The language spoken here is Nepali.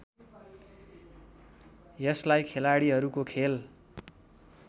यसलाई खेलाड़ीहरूको खेल